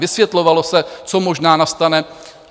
Vysvětlovalo se, co možná nastane.